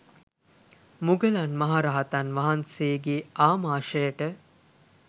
මුගලන් මහ රහතන් වහන්සේගේ ආමාශයට